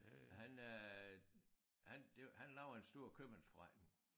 Han øh han det han lavede jo en stor købmandsforretning